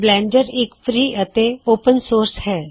Blender ਇਕ free ਅਤੇ ਖੁਲਾ ਸੋਮਾ ਹੈ